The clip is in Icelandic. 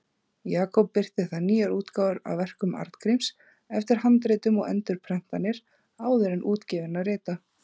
Jakob birti þar nýjar útgáfur á verkum Arngríms eftir handritum og endurprentanir áður útgefinna rita.